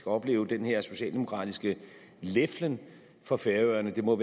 opleve den her socialdemokratiske leflen for færøerne det må